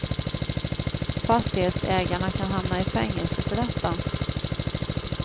Fastighetsägarna kan hamna i fängelse för detta.